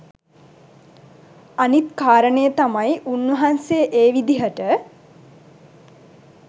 අනිත් කාරණය තමයි උන්වහන්සේ ඒ විදිහට